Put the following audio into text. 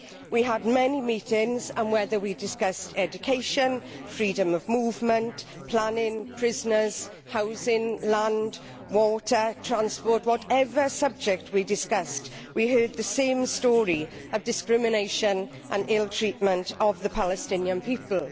We had many meetings and, whether we discussed education, freedom of movement, planning, prisoners, housing, land, water or transport in fact whatever subject we discussed we heard the same story of discrimination and ill treatment of the Palestinian people.